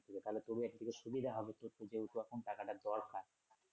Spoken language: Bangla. এখানে খুবই একদিকে সুবিধা হবে তোর তো যেহেতু এখন টাকাটা দরকার।